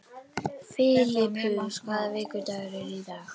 Filippus, hvaða vikudagur er í dag?